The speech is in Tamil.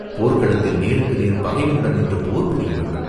போர்க்களத்தில் நேருக்கு நேர் பகைவனுடன் நின்று போர் புரிய வேண்டும்!